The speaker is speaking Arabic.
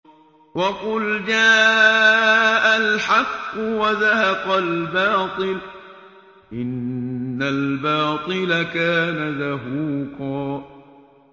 وَقُلْ جَاءَ الْحَقُّ وَزَهَقَ الْبَاطِلُ ۚ إِنَّ الْبَاطِلَ كَانَ زَهُوقًا